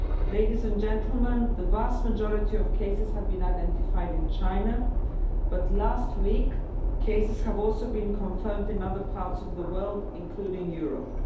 Ladies and gentlemen, the vast majority of cases have been identified in China, but last week, cases have also been confirmed in other parts of the world, including Europe.